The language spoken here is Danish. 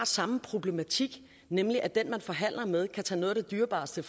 samme problematik nemlig at den man forhandler med kan tage noget af det dyrebareste